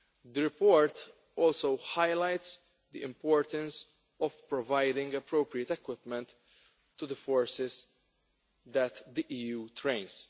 The report also highlights the importance of providing appropriate equipment to the forces that the EU trains.